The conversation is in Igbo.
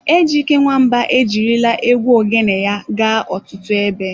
Ejyke Nwamba ejirila egwu Ogene ya gaa ọtụtụ ebe.